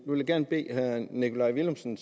vil jeg gerne bede herre nikolaj villumsen